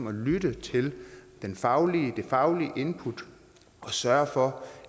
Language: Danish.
at lytte til det faglige input og sørge for